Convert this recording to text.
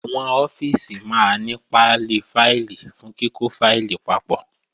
Àwọn ọ́fíìsì máa ní pálí fáìlì fún kíkọ́ fáìlì papọ̀